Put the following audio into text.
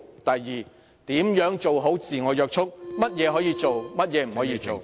第二，如何做好自我約束......甚麼可以做，甚麼不可做？